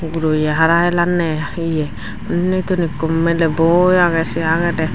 guroye hara hilanney ye unni tun ikko miley boi agey sey agey tey.